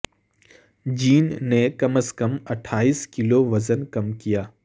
جین نے کم از کم اٹھائیس کلو وزن کم کیا